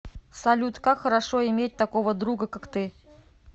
салют как хорошо иметь такого друга как ты